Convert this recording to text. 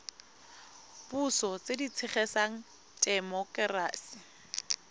puso tse di tshegetsang temokerasi